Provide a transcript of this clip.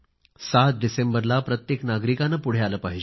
7 डिसेंबरला प्रत्येक नागरिकाने पुढे आले पाहिजे